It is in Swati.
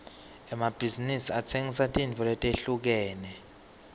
emabhizinsi atsengisa tintfo letehlukene